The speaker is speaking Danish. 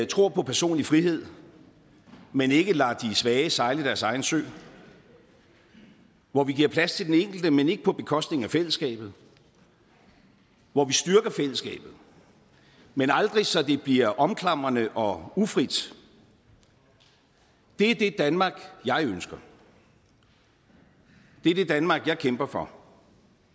tror på personlig frihed men ikke lader de svage sejle i deres egen sø hvor vi giver plads til den enkelte men ikke på bekostning af fællesskabet og hvor vi styrker fællesskabet men aldrig så det bliver omklamrende og ufrit det er det danmark jeg ønsker det er det danmark jeg kæmper for